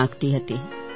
કરવા માગતી હતી